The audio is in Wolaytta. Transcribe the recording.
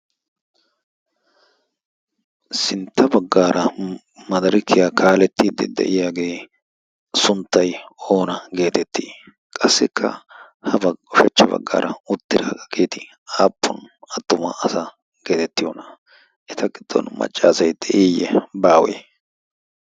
sintta baggaara madarikiyaa kaalettiiddi de'iyaagee sunttay oona geetettii qassikka ha shachcha baggaara uttira a geeti aappun adtumaa asa geetettiy oona eta qiddon maccaasai de'iiyye baawee?